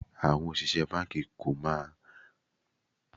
Àwọn òṣìṣẹ́ báńkì kò ní máa fiṣẹ́ sílẹ̀ lemọ́lemọ́ tí wọ́n bá ń gbówó gidi.